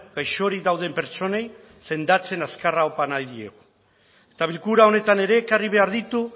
gaixorik dauden pertsonei sendatzen azkar opa nahi diegu eta bilkura honetan ere ekarri behar ditut